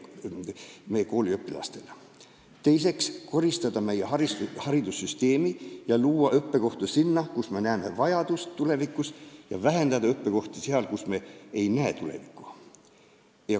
Teiseks tuleks korrastada haridussüsteemi ja luua õppekohti nendel aladel, kus me näeme tulevikus tööjõuvajadust, ning vähendada õppekohti nendel erialadel, millel me ei näe tulevikku.